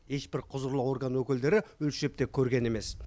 ешбір құзырлы орган өкілдері өлшеп те көрген емес